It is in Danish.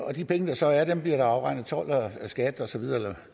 og de penge der så er bliver der afregnet told og skat og